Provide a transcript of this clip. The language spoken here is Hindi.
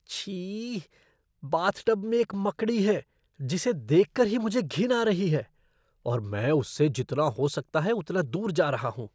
छी, बाथटब में एक मकड़ी है जिसे देख कर ही मुझे घिन आ रही है और मैं उससे जितना हो सकता है उतना दूर जा रहा हूँ।